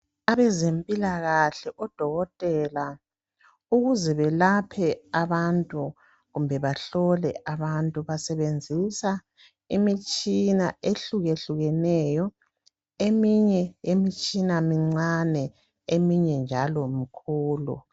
Abezimpila kahle odokotela ukuze belaphe abantu kumbe bahlole abantu basebenzisa imitshina ehluke hlukeneyo eminye imitshina mincane eminye njalo mikhulu.